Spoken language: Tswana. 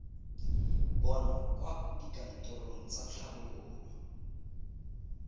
bonwa kwa dikantorong tsa tlhabololo